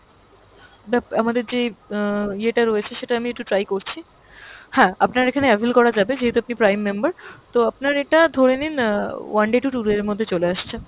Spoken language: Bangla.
আমাদের যেই আহ ইয়েটা রয়েছে সেটা আমি একটু try করছি। হ্যাঁ আপনার এখানে avail করা যাবে যেহেতু আপনি prime member, তো আপনার এটা ধরে নিন আহ one day to two day এর মধ্যে চলে আসছে।